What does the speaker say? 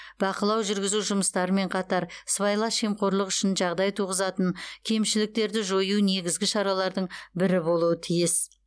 бақылау жүргізу жұмыстарымен қатар сыбайлас жемқорлық үшін жағдай туғызатын кемшіліктерді жою негізгі шаралардың бірі болуы тиіс